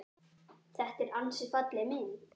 Þetta er ansi falleg mynd.